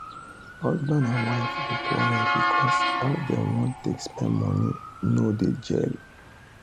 husband and wife dey quarrel because how dem wan take spend money no dey gel